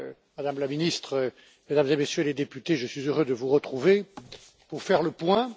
Madame la Ministre, Mesdames et Messieurs les députés, je suis heureux de vous retrouver pour faire le point.